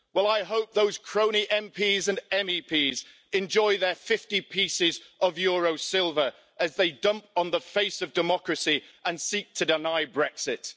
Well I hope those crony MPs and MEPs enjoy their 50 pieces of euro silver as they dump on the face of democracy and seek to deny Brexit.